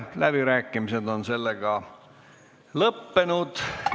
Läbirääkimised on lõppenud.